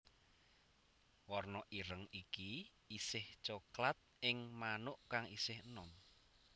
Warna ireng iki isih coklat ing manuk kang isih enom